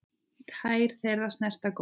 Tær þeirra snerta gólfið.